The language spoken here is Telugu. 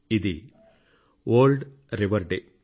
ఇది వరల్డ్ రివర్ డే